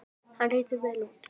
Hann lítur vel út